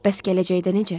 Bəs gələcəkdə necə?